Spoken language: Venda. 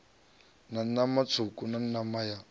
sa nama tswuku nama ya